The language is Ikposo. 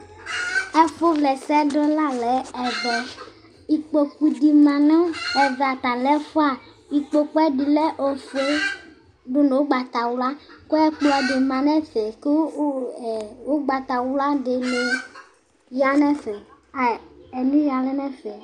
Ɛfu wle ɛsɛdi la lɛ ɛvɛ ikpoku di ma nu ɛvɛ ata lɛ ɛfua ikpoku ɛdi lɛ ofue dunu ugbatawla ku ɛkplɔ di ma nu ɛfɛ ku ugbatawla dini ya nɛfɛ enu ya lɛnɛfɛ